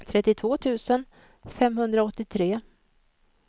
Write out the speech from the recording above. trettiotvå tusen femhundraåttiotre